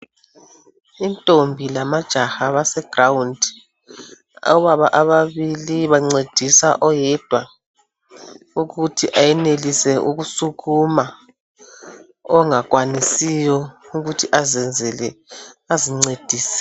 Intombi lamajaha abase ground obaba ababili abancedisa oyedwa ukuthi ayenelise ukusukuma ongakwanisiyo ukuthi azenzele kumbe azincedise.